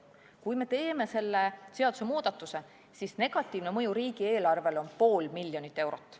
Kui me teeme selle seadusemuudatuse, siis negatiivne mõju riigieelarvele on pool miljonit eurot.